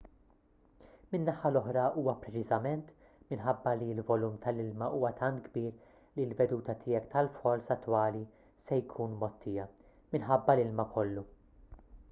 min-naħa l-oħra huwa preċiżament minħabba li l-volum tal-ilma huwa tant kbir li l-veduta tiegħek tal-falls attwali se jkun mgħottija-minħabba l-ilma kollu